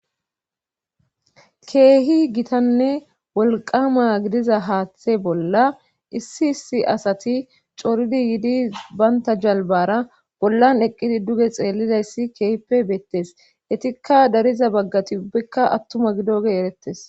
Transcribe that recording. Keehi gitanne wolqama gidiza haaththe bolla issi issi asati coridi yiidi baynta jalbara bollan eqqidi duge xeellidayssi keehippe beettes hetikka dariza baggati ubbikka attuma gidoge erettes